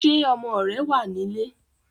Ṣé ọmọ rẹ̀ wá nílé?